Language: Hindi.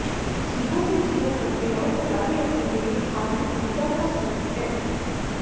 जीवों के जीवन प्रक्रियाओं को जारी रखने के लिए खाद्य ऊर्जा का स्रोत है